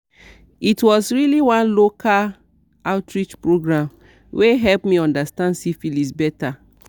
it was really one local outreach program where help me understand syphilis better